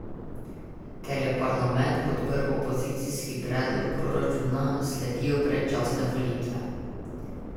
Ker je parlament podprl opozicijski predlog proračuna, sledijo predčasne volitve.